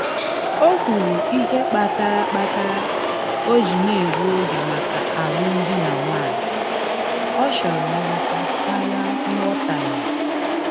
Ọ kọwara ihe kpatara kpatara o ji na-egbu oge maka alụm di na nwanyị, ọ chọrọ nghọta karịa nghọtahie